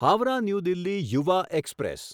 Howrah New Delhi Yuva express